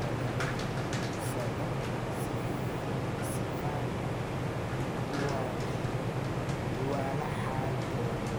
kadameysadho sifaan uwalaxajono.